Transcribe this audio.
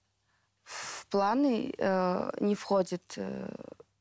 в планы ыыы не входит ыыы